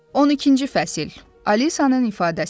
On ikinci fəsil, Alisanın ifadəsi.